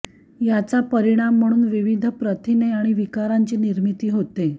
याचा परिणाम म्हणून विविध प्रथिने आणि विकारांची निर्मिती होते